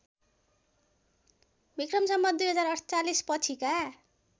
विक्रम सम्वत २०४८ पछिका